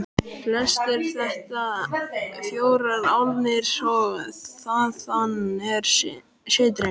Flestir þetta fjórar álnir og þaðan af styttri.